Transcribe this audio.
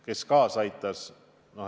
Kes kaasa aitas?